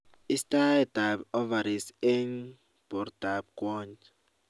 istaet ap ovaries eng portap kwany